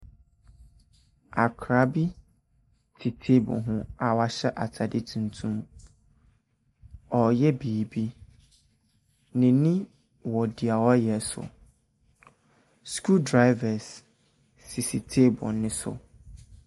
Akowadaa bi te table ho a wahyɛ atade tuntum. Ɔreyɛ biribi. N'ani wɔ deɛ ɔreyɛ so. Screw drivers sisi table no so.